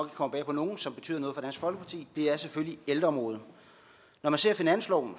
komme bag på nogen som betyder noget for dansk folkeparti er selvfølgelig ældreområdet når man ser finansloven